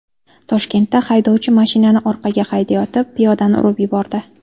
Toshkentda haydovchi mashinani orqaga haydayotib, piyodani urib yubordi.